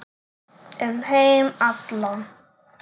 Um heim allan.